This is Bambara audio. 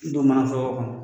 don mana foroko kɔnɔ.